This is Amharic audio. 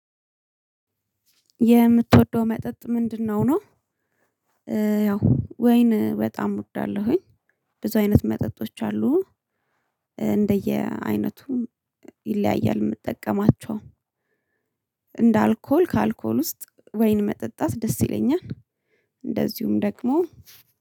የምትወደው መጠጥ ምንድነው? ነው ያው ወይን በጣም እወዳለሁኝ። ብዙ አይነት መጠጦች አሉ። እንደየ አይነቱን ይለያያል የምጠቀማቸው። እንደ አልኮል ከአልኮል ውስጥ ወይን መጠጣት ደስ ይለኛል። እንደዚሁም ደግሞ